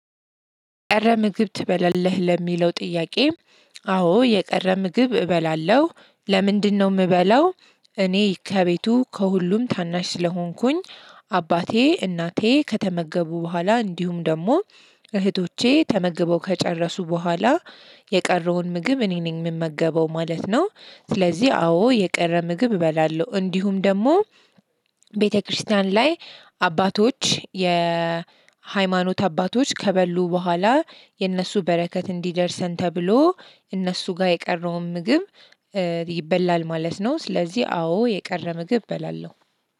የቀረ ምግብ ትበላለህ ለሚለው ጥያቄ? አዎ የቀረ ምግብ እበላለሁ ለምንድን ነው እምበላው? እኔ ከቤቱ ከሁሉም ታናሽ ስለሆንኩኝ። አባቴ እናቴ ከተመገቡ በኋላ እንዲሁም ደግሞ እህቶቼ ተመግበው ከጨረሱ በኋላ የቀረውን ምግብ እኔ ነኝ እምመገበው ማለት ነው። ስለዚህ አዎ የቀረ ምግብ እበላለሁ እንዲሁም ደግሞ። ቤተክርስቲያን ላይ አባቶች የሃይማኖት አባቶች ከበሉ በኋላ የነሱ በረከት እንዲደርሰን ተብሎ እነሱ ጋር የቀረውን ምግብ ይበላል ማለት ነው። ስለዚህ አዎ የቀረ ምግብ እበላለሁ።